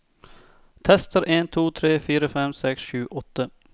Tester en to tre fire fem seks sju åtte